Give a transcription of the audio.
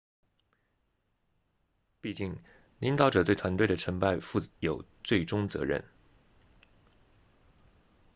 毕竟领导者对团队的成败负有最终责任